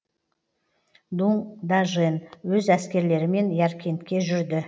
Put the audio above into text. дуң дажен өз әскерлерімен яркентке жүрді